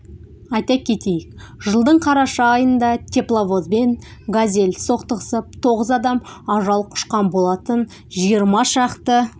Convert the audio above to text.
айта кетейік жылдың қараша айында тепловоз бен газель соқтығысып тоғыз адам ажал құшқан болатын жиырма шақты